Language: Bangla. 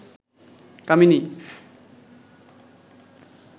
কামিনী